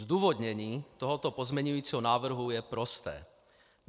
Zdůvodnění tohoto pozměňujícího návrhu je prosté.